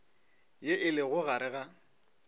ye e lego gare ga